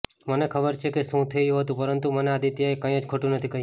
મને ખબર છે કે શું થયું હતું પરંતુ મને આદિત્યએ કંઈ જ ખોટુ નથી કહ્યું